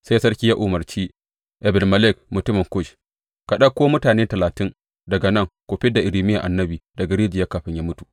Sai sarki ya umarce Ebed Melek mutumin Kush, Ka ɗauko mutane talatin daga nan ku fid da Irmiya annabi daga rijiyar kafin ya mutu.